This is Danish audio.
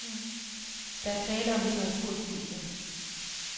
Der er tale om litteraturstudier.